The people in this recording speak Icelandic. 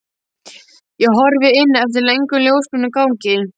Ég horfi inn eftir löngum ljósbrúnum gangi.